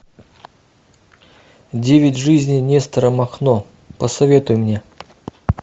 девять жизней нестора махно посоветуй мне